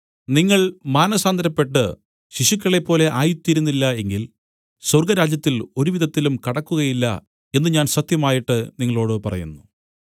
നിങ്ങൾ മാനസാന്തരപ്പെട്ട് ശിശുക്കളെപ്പോലെ ആയിത്തീരുന്നില്ല എങ്കിൽ സ്വർഗ്ഗരാജ്യത്തിൽ ഒരുവിധത്തിലും കടക്കുകയില്ല എന്നു ഞാൻ സത്യമായിട്ട് നിങ്ങളോടു പറയുന്നു